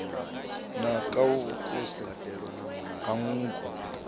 naka a vhukuse ha nngu